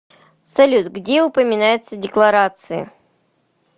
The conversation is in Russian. салют где упоминается декларации